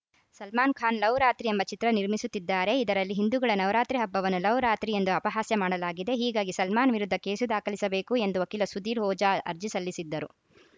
ಸಲ್ಮಾನ್‌ ಖಾನ್‌ ಲವ್‌ರಾತ್ರಿ ಎಂಬ ಚಿತ್ರ ನಿರ್ಮಿಸುತ್ತಿದ್ದಾರೆ ಇದರಲ್ಲಿ ಹಿಂದೂಗಳ ನವರಾತ್ರಿ ಹಬ್ಬವನ್ನು ಲವ್‌ರಾತ್ರಿ ಎಂದು ಅಪಹಾಸ್ಯ ಮಾಡಲಾಗಿದೆ ಹೀಗಾಗಿ ಸಲ್ಮಾನ್‌ ವಿರುದ್ಧ ಕೇಸು ದಾಖಲಿಸಬೇಕು ಎಂದು ವಕೀಲ ಸುಧೀರ್‌ ಓಝಾ ಅರ್ಜಿ ಸಲ್ಲಿಸಿದ್ದರು